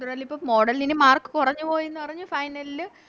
Model ന് ഇനി Mark കൊറഞ്ഞ് പോയിന്ന് പറഞ്ഞ് Final ല്